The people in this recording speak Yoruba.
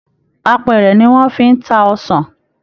Àpẹrẹ ni wọn fi n tá ọsàn.